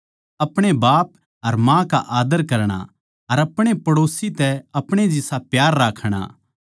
अपणे बाप अर माँ का आद्दर करणा अर अपणे पडौसी तै अपणे जिसा प्यार राखणा